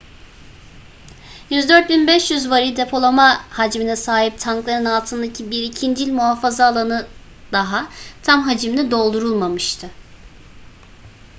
104.500 varil depolama hacmine sahip tankların altındaki bir ikincil muhafaza alanı daha tam hacimle doldurulmamıştı